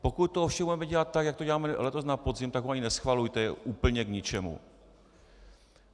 Pokud to ovšem budeme dělat tak, jak to děláme letos na podzim, tak ho ani neschvalujte, je úplně k ničemu.